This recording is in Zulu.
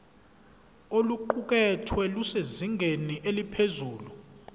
oluqukethwe lusezingeni eliphezulu